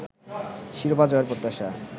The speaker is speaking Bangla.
শিরোপা জয়ের প্রত্যাশা